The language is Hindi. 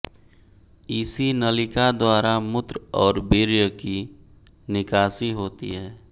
इसी नलिका द्वारा मूत्र और वीर्य की निकासी होती है